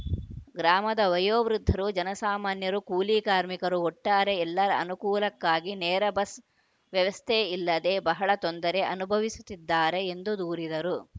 ಗ್ರಾಮದ ವಯೋವೃದ್ಧರು ಜನಸಾಮಾನ್ಯರು ಕೂಲಿ ಕಾರ್ಮಿಕರು ಒಟ್ಟಾರೆ ಎಲ್ಲರ ಅನುಕೂಲಕ್ಕಾಗಿ ನೇರ ಬಸ್‌ ವ್ಯವಸ್ಥೆ ಇಲ್ಲದೇ ಬಹಳ ತೊಂದರೆ ಅನುಭವಿಸುತ್ತಿದ್ದಾರೆ ಎಂದು ದೂರಿದರು